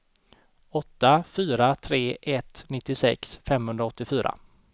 åtta fyra tre ett nittiosex femhundraåttiofyra